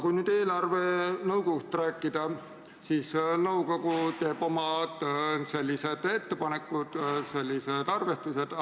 Kui nüüd eelarvenõukogust rääkida, siis nõukogu teeb omad ettepanekud ja arvestused.